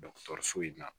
so in na